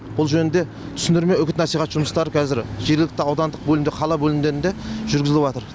бұл жөнінде түсіндірме үгіт насихат жұмыстары қазір жергілікті аудандық бөлімде қала бөлімдерінде жүргізіліватыр